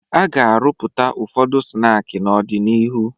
A ga-arụpụta ụfọdụ snaakị n'ọdịnihu